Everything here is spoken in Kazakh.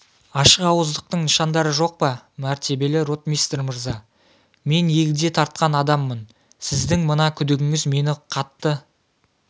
ашықауыздықтың нышандары жоқ па мәртебелі ротмистр мырза мен егде тартқан адаммын сіздің мына күдігіңіз мені қатты